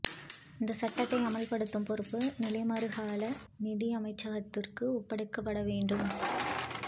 இந்த சட்டத்தை அமுல்படுத்தும் பொறுப்பு நிலைமாறுகால நீதி அமைச்சகத்துக்கு ஒப்படைக்கப்பட வேண்டும்